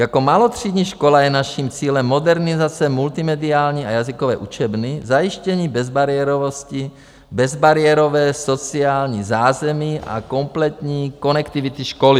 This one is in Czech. Jako malotřídní škola je naším cílem modernizace multimediální a jazykové učebny, zajištění bezbariérovosti, bezbariérové sociální zázemí a kompletní konektivity školy.